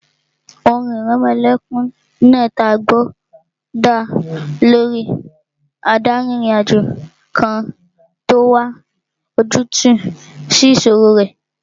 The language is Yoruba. Orin ìrẹmọlẹ́kún náà tí a gbọ́ dá lórí adárin-ìrìnàjò kan tó n wá ojútùú sí ìṣòro rẹ̀